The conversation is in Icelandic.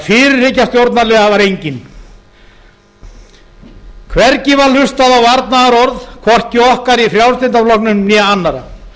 fyrirhyggja stjórnarliða var engin hvergi var hlustað á varnaðarorð hvorki okkar í frjálslynda flokknum né annarra